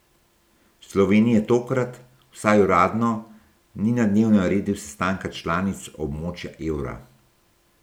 Slovenije tokrat, vsaj uradno, ni na dnevnem redu sestanka članic območja evra.